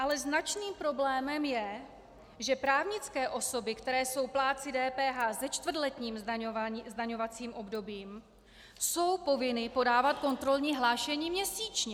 Ale značným problémem je, že právnické osoby, které jsou plátci DPH se čtvrtletním zdaňovacím obdobím, jsou povinny podávat kontrolní hlášení měsíčně.